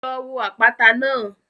Lọ wo àpáta náà.